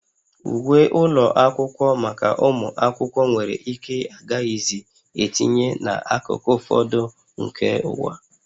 Uwe ụlọ akwụkwọ maka ụmụ akwụkwọ nwere ike agaghịzi etinye n'akụkụ ụfọdụ nke ụwa